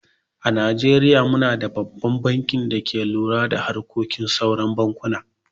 A najeriya mu na da babban bankin da ke lura da harkokin sauran bankunan.